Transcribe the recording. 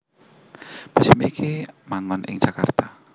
Museum iki manggon ing Jakarta